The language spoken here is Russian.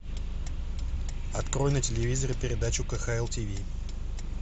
открой на телевизоре передачу кхл тв